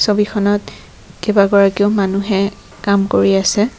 ছবিখনত কেইবাগৰাকীও মানুহে কাম কৰি আছে।